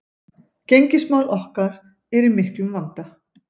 Gengismál okkar eru í miklum vanda